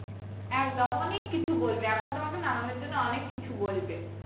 একদম অনেক কিছু বলবে এখন তোমাকে নামানোর জন্য অনেক কিছু বলবে